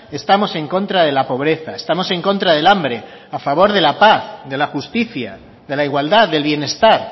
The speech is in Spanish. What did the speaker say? estamos en contra de la pobreza estamos en contra del hambre a favor de la paz de la justicia de la igualdad del bienestar